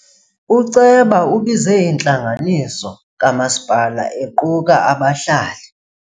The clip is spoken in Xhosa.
Uceba ubize intlanganiso kamasipala equka abahlali.